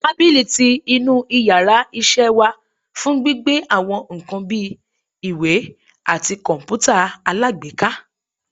tábilí tí inú íyarà iṣẹ wa fún gbíbe awọn nkán bi, ìwè atí kọǹpútà alágbèéká.